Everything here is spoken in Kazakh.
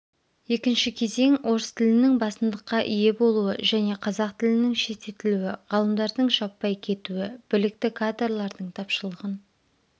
екінші кезең орыс тілінің басымдыққа ие болуы және қазақ тілінің шеттетілуі ғалымдардың жаппай кетуі білікті кадрлардың тапшылығын